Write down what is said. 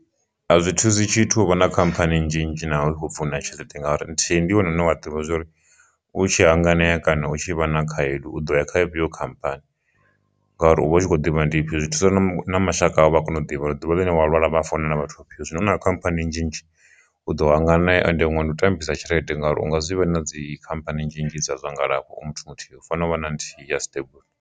A zwi thusi tshithu uvha na khamphani nnzhi nnzhi naho i khou pfi u na tshelede ngauri nthihi ndi yone une wa ḓivha zwori u tshi hanganea kana u tshi vha na khaedu u ḓo ya kha ifhio khamphani, ngauri u vha u tshi kho ḓivha nḓivho zwi thusa na mashaka a vha kone u ḓivha uri ḓuvha ḽine wa lwala vha founela vhathu vhafhio zwino na khamphani nnzhi nnzhi u ḓo hanganea ende huṅwe ndi u tambisa tshelede ngauri unga zwivha na dzi khamphani nnzhi nnzhi dza zwa ngalafho u muthu muthihi u fanela u vha na nthihi ya stable.